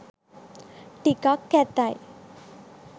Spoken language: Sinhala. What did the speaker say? ටිකක් කැතයි.